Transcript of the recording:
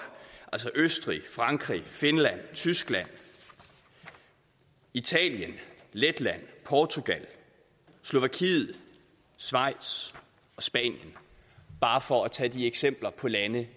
østrig frankrig finland tyskland italien letland portugal slovakiet schweiz og spanien bare for at tage nogle eksempler på lande